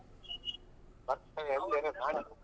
ಬರ್ತೀನಿ ತಡಿ .